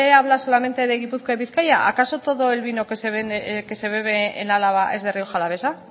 habla solamente de gipuzkoa y bizkaia acaso todo el vino que se bebe en álava es de rioja alavesa